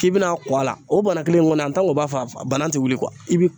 K'i bɛna kɔ a la, o bana kelen in kɔni b'a f'a bana tɛ wuli